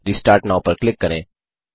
restart now पर click करें